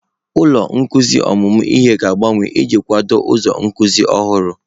Ụlọ nzukọ ọmụmụ ihe ga-agbanwe iji kwado ụzọ nkuzi ọhụrụ.